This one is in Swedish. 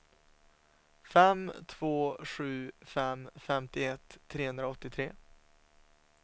fem två sju fem femtioett trehundraåttiotre